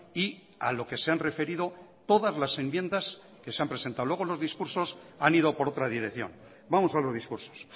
y a lo que se han referido todas las enmiendas que se han presentado luego los discursos han ido por otra dirección vamos a los discursos